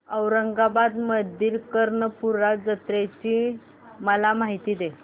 औरंगाबाद मधील कर्णपूरा जत्रेची मला माहिती दे